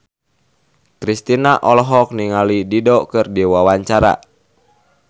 Kristina olohok ningali Dido keur diwawancara